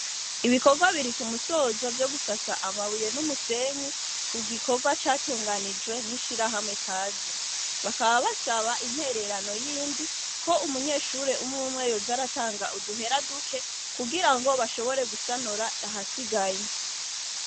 Ibikorwa biri kumusozo vyo gusasa amabuye n'umusenyi ku gikorwa catunganijwe n'ishirahamwe Kaze, bakaba basaba intererano yindi ko umunyeshure umwe umwe yoza aratanga uduhera duke kugira ngo bashobore gusanura udusigaye.